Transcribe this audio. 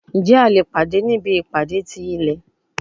Njẹ a le pade ni ibi ipade ti ilẹ?